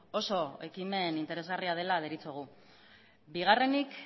oso ekimen interesgarria dela deritzogu bigarrenik